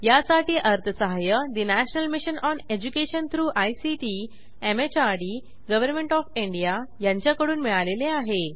यासाठी अर्थसहाय्य national mission on education through ICT MHRD government of India यांच्याकडून मिळालेले आहे